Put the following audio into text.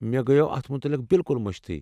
مےٚ گَیو اتھ متعلِق بِلکُل مٔشتھٕے۔